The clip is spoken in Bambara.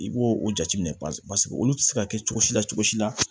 I b'o o jateminɛ paseke olu ti se ka kɛ cogo si la cogo si la